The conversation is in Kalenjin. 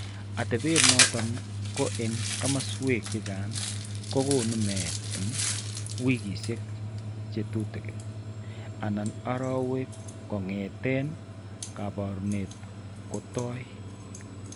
Atepet noton ko eng' kasarwek chechang' ko konu meet eng' wiikiisiek che tutukin anan arowek kong'eeten kaabarunet kotoi.